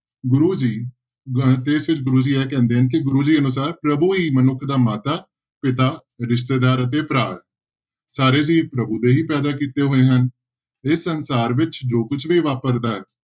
ਗੁਰੂ ਜੀ ਤੇ ਫਿਰ ਗੁਰੂ ਜੀ ਇਹ ਕਹਿੰਦੇ ਨੇ ਕਿ ਗੁਰੂ ਜੀ ਅਨੁਸਾਰ ਪ੍ਰਭੂ ਹੀ ਮਨੁੱਖ ਦਾ ਮਾਤਾ, ਪਿਤਾ, ਰਿਸ਼ਤੇਦਾਰ ਅਤੇ ਭਰਾ ਹੈ ਸਾਰੇ ਹੀ ਪ੍ਰਭੂ ਦੇ ਹੀ ਪੈਂਦਾ ਕੀਤੇ ਹੋਏ ਹਨ ਇਹ ਸੰਸਾਰ ਵਿੱਚ ਜੋ ਕੁਛ ਵੀ ਵਾਪਰਦਾ ਹੈ,